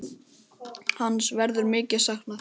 Hans verður mikið saknað.